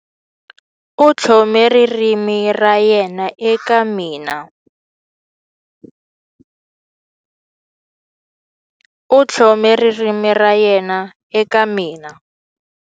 U tlhome ririmi ra yena eka mina. U tlhome ririmi ra yena eka mina.